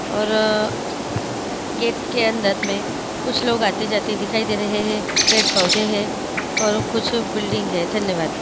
और गेट के अंदर मे कुछ लोग आते जाते दिखाई दे रहे है पेड़ पौधे है और कुछ बिल्डिंग है धन्यवाद।